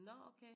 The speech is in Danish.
Nå okay